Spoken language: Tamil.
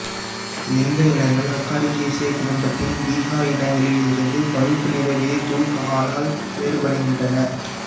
லிந்த இனங்கள் அகாரிகேசியே குடும்பத்தின் பிஅ இனங்களில் இருந்து பழுப்புநிற விதைத்தூள்காளால் வேறுபடுகின்றன